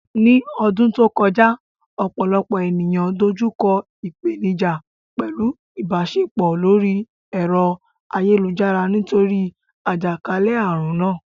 Ní ọdún tó kọjá, ọ̀pọ̀lọpọ̀ ènìyàn dojú kọ ìpèníjà pẹ̀lú ìbáṣepọ̀ lórí ẹ̀rọ ayélujára nítorí àjàkálẹ̀ àrùn náà.